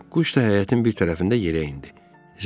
Quş isə həyətin bir tərəfində yerə indi.